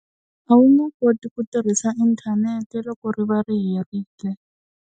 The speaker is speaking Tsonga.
A wu nge koti ku tirhisa inthanete loko ri va ri herile.